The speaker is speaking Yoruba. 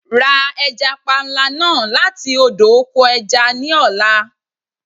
Ra ẹja panla náà láti odò oko ẹja ní ọ̀la.